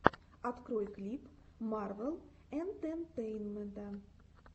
открой клип марвел энтетейнмента